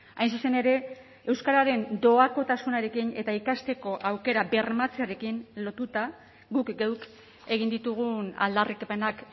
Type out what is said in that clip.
hain zuzen ere euskararen doakotasunarekin eta ikasteko aukera bermatzearekin lotuta guk geuk egin ditugun aldarrikapenak